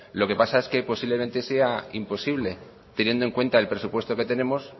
lo que pasa es que posiblemente sea imposible teniendo en cuenta el presupuesto que tenemos